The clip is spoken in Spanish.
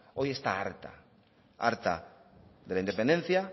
hoy está harta harta de la independencia